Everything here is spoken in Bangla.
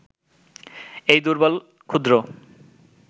এই দুর্বল, ক্ষুদ্র